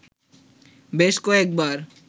বেশ কয়েকবার